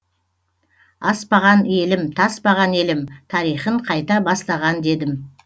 аспаған елім таспаған елім тарихын қайта бастаған дедім